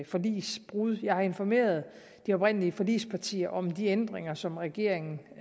forligsbrud jeg har informeret de oprindelige forligspartier om de ændringer som regeringen